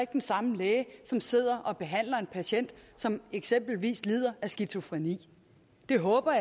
den samme læge som sidder og behandler en patient som eksempelvis lider af skizofreni det håber